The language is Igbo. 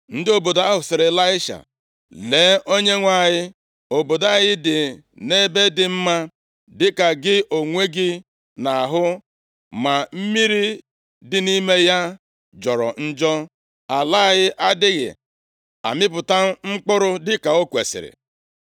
Ndị obodo ahụ sịrị Ịlaisha, “Lee, onyenwe anyị, obodo anyị dị nʼebe dị mma, dịka gị onwe gị na-ahụ, ma mmiri dị nʼime ya jọrọ njọ, ala ya adịghị amịpụta mkpụrụ dịka o kwesiri.”